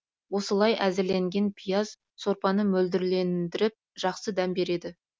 осылай әзірленген пияз сорпаны мөлдірлендіріп жақсы дәм береді